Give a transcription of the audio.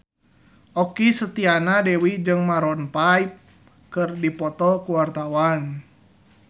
Okky Setiana Dewi jeung Maroon 5 keur dipoto ku wartawan